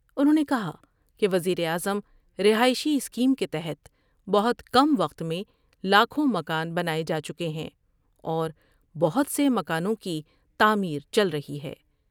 انھوں نے کہا کہ وزیر اعظم رہائشی اسکیم کے تحت بہت کم وقت میں لاکھوں مکان بنائے جا چکے ہیں اور بہت سے مکانوں کی تعمیر چل رہی ہے ۔